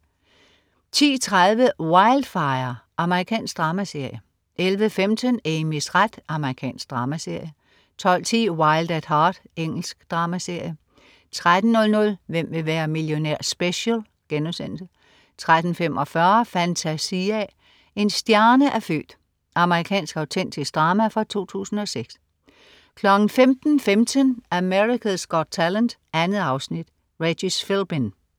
10.30 Wildfire. Amerikansk dramaserie 11.15 Amys ret. Amerikansk dramaserie 12.10 Wild at Heart. Engelsk dramaserie 13.00 Hvem vil være millionær? Special* 13.45 Fantasia. En stjerne er født. Amerikansk autentisk drama fra 2006 15.15 America's Got Talent. 2 afsnit. Regis Philbin